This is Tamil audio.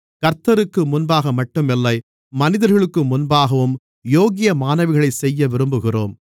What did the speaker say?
கர்த்தருக்கு முன்பாகமட்டும் இல்லை மனிதர்களுக்கு முன்பாகவும் யோக்கியமானவைகளைச் செய்ய விரும்புகிறோம்